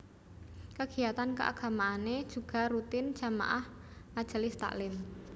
Kegiatan keagamaane juga rutin jamaah majelis taklim